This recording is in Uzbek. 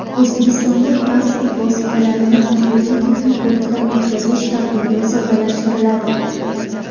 O‘zbekistonda transport vositalarini majburiy texnik ko‘rikdan o‘tkazish tartibi soddalashtiriladi.